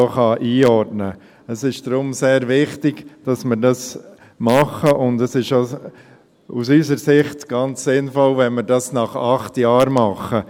Deshalb ist es sehr wichtig, dass wir dies tun, und es ist aus unserer Sicht auch ganz sinnvoll, wenn wir dies nach acht Jahren tun.